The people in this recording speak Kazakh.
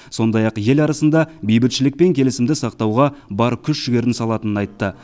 сондай ақ ел арасында бейбітшілік пен келісімді сақтауға бар күш жігерін салатынын айтты